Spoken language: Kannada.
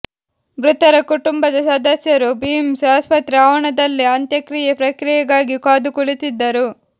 ಮೃತರ ಕುಟುಂಬದ ಸದಸ್ಯರು ಬಿಮ್ಸ್ ಆಸ್ಪತ್ರೆ ಆವರಣದಲ್ಲೇ ಅಂತ್ಯಕ್ರಿಯೆ ಪ್ರಕ್ರಿಯೆಗಾಗಿ ಕಾದುಕುಳಿತಿದ್ದರು